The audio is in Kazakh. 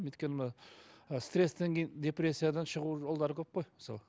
өйткені мына ы стресстен кейін депрессиядан шығу жолдары көп қой мысалы